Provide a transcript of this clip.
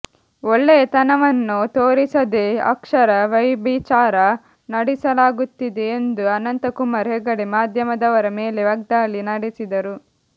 ಒಳ್ಳೆಯತನವನ್ನು ತೋರಿಸದೇ ಅಕ್ಷರ ವೈಭಿಚಾರ ನಡೆಸಲಾಗುತ್ತಿದೆ ಎಂದು ಅನಂತಕುಮಾರ ಹೆಗಡೆ ಮಾಧ್ಯಮದವರ ಮೇಲೆ ವಾಗ್ದಾಳಿ ನಡೆಸಿದರು